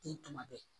Ten tuma bɛɛ